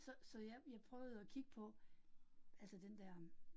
Så så jeg, jeg prøvede at kigge på, altså den der øh